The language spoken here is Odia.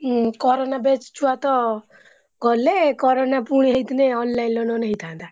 ହୁଁ corona batch ଛୁଆତ କଲେ corona ପୁଣି ହେଇଥିଲେ online ନହେଲେ ନାଇ ହେଇଥାନ୍ତା।